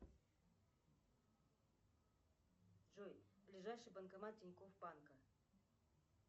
джой ближайший банкомат тинькоф банка